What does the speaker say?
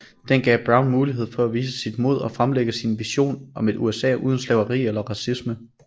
Den gav Brown mulighed for at vise sit mod og fremlægge sin vision om et USA uden slaveri eller racisme